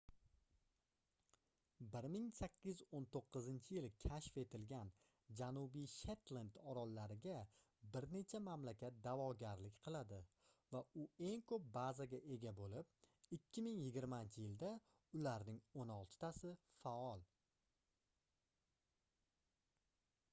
1819-yili kashf etilgan janubiy shetlend orollariga bir necha mamlakat daʼvogarlik qiladi va u eng koʻp bazaga ega boʻlib 2020-yilda ularning oʻn oltitasi faol